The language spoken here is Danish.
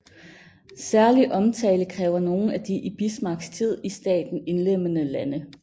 Særlig omtale kræver nogle af de i Bismarcks tid i staten indlemmede lande